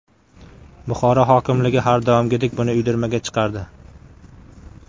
Buxoro hokimligi har doimgidek buni uydirmaga chiqardi .